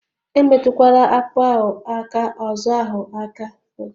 Emetụkwala akpụ ahụ aka ọzọhụ aka ọzọ